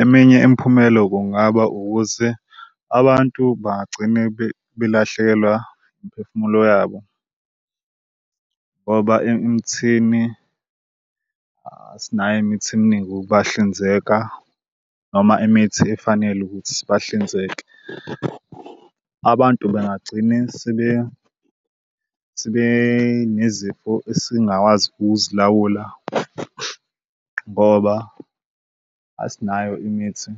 Eminye imiphumelo kungaba ukuze abantu bagcine belahlekelwa yimiphefumulo yabo ngoba emthini asinayo imithi eminingi ukubahlinzekela noma imithi efanele ukuthi sibahlinzeke. Abantu bangagcini sebenezifo esingakwazi ukuzilawula ngoba asinayo imithi